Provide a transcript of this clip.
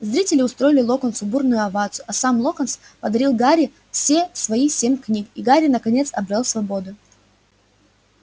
зрители устроили локонсу бурную овацию а сам локонс подарил гарри все свои семь книг и гарри наконец обрёл свободу